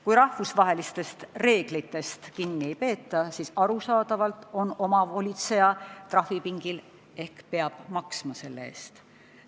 Kui rahvusvahelistest reeglitest kinni ei peeta, siis arusaadavalt on omavolitseja trahvipingil ehk peab selle eest maksma.